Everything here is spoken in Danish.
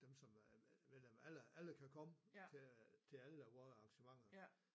Dem som er medlem alle alle kan komme til att vor arrangementer